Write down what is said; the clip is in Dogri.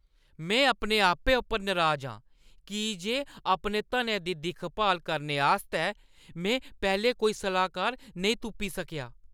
में अपने आपै पर नराज आं की जे अपने धनै दी दिक्ख-भाल करने आस्तै में पैह्‌लें कोई सलाह्कार नेईं तुप्पी सकेआ।